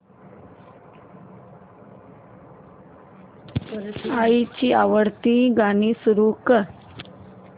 आईची आवडती गाणी सुरू कर